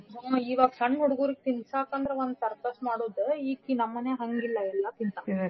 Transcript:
ಹ್ಞೂ ಈವಾಗ ಸಣ್ಣ ಹೂಡ್ಗೂರ್ಗ ತಿನ್ಸಾಕಂದ್ರ ಒಂದ್ circus ಮಾಡುದ ಈಕಿ ನಮ್ಮನ್ಯಾಗ್ ಹಂಗಿಲ್ಲಾ ಎಲ್ಲಾ ತಿಂತಾಳ್. .